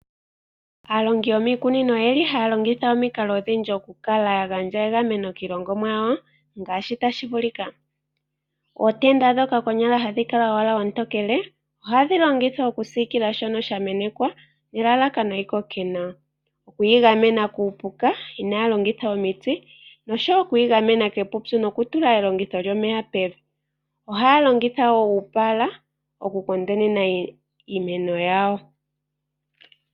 Aalongi yomiikunino, oye li ha ya gandja omikalo odhindji opo ya gandje egameno kiikunino yawo. Ootenda dhono dho lwaala olutokele oha dhi longithwa oku siikila shoka sha menekwa, nelalakano yi koke nawa. Oku yi gamena kuupuka, ina ya longitha omiti, osho wo oku tula elongitho lyomeya pevi. Oha ya longitha uupaala oku kondeka iimeno yawo.